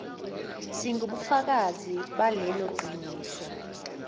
singubufakazi balelo qiniso